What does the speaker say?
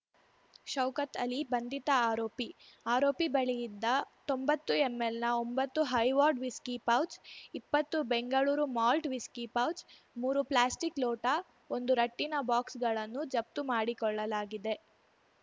ಶೌಕತ್‌ ಅಲಿ ಬಂಧಿತ ಆರೋಪಿ ಆರೋಪಿ ಬಳಿಯಿದ್ದ ತೊಂಬತ್ತು ಎಂಎಲ್‌ನ ಒಂಬತ್ತು ಹೈವಾರ್ಡ್‌ ವಿಸ್ಕಿ ಪೌಚ್‌ ಇಪ್ಪತ್ತು ಬೆಂಗಳೂರು ಮಾಲ್ಟ್‌ ವಿಸ್ಕಿ ಪೌಚ್‌ ಮೂರು ಪ್ಲಾಸ್ಟಿಕ್‌ ಲೋಟ ಒಂದು ರಟ್ಟಿನ ಬಾಕ್ಸ್‌ಗಳನ್ನು ಜಫ್ತು ಮಾಡಿಕೊಳ್ಳಲಾಗಿದೆ